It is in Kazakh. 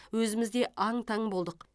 өзіміз де аң таң болдық